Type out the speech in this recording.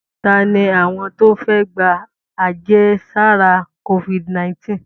Ta ni àwọn tó fẹ́ gba àjẹsára Covid-19?